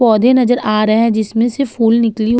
पौधे नज़र आ रहे है जिसमें से फूल निकली हुई --